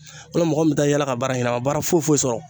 U mɛ mɔgɔ min taa yaala ka baara ɲini a ma baara foyi foyi sɔrɔ